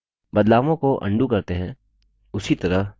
बदलावों को अन्डू करते हैं